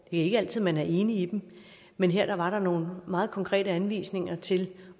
ikke altid man er enig i dem men her var der nogle meget konkrete anvisninger til